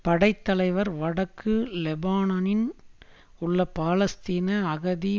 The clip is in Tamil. படை தலைவர் வடக்கு லெபனானின் உள்ள பாலஸ்தீன அகதி